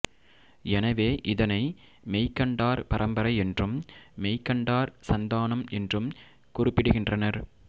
எனவே இதனை மெய்கண்டார் பரம்பரை என்றும் மெய்கண்டார் சந்தானம் என்றும் குறிப்பிடுகின்றனர்